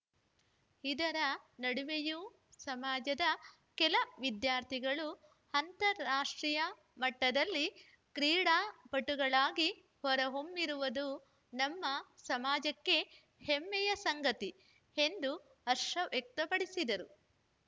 ಇದರ ನಡುವೆಯು ಸಮಾಜದ ಕೆಲ ವಿದ್ಯಾರ್ಥಿಗಳು ಅಂತಾರಾಷ್ಟ್ರೀಯ ಮಟ್ಟದಲ್ಲಿ ಕ್ರೀಡಾಪಟುಗಳಾಗಿ ಹೊರಹೊಮ್ಮಿರುವುದು ನಮ್ಮ ಸಮಾಜಕ್ಕೆ ಹೆಮ್ಮೆಯ ಸಂಗತಿ ಎಂದು ಹರ್ಷ ವ್ಯಕ್ತಪಡಿಸಿದರು